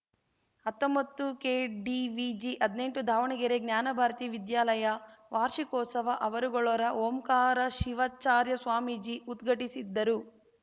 ಹತ್ತೊಂಬತ್ತುಕೆಡಿವಿಜಿಹದ್ನೆಂಟು ದಾವಣಗೆರೆ ಜ್ಞಾನಭಾರತಿ ವಿದ್ಯಾಲಯ ವಾರ್ಷಿಕೋತ್ಸವ ಅವರುಗೊಳ್ಳ ಓಂಕಾರ ಶಿವಾಚಾರ್ಯ ಸ್ವಾಮೀಜಿ ಉದ್ಘಟಿಸಿದರು